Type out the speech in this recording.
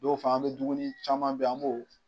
Dow fa an me dumuni caman be yen an b'o